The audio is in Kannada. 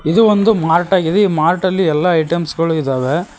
ಇದು ಒಂದು ಮಾರ್ಟಾಗಿದೆ ಈ ಮಾರ್ಟ್ ನಲ್ಲಿ ಎಲ್ಲಾ ಐಟಂ ಗಳು ಇದ್ದಾವೆ.